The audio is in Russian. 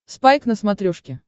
спайк на смотрешке